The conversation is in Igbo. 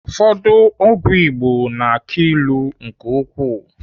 Ụfọdụ ọgwụ Igbo na-aki ilu nke ukwuu.